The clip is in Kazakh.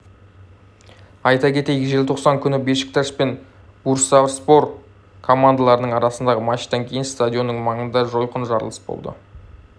айта кетейік желтоқсан күні бешикташ пен бурсаспор командаларының арасындағы матчтан кейін стадионының маңында жойқын жарылыс болды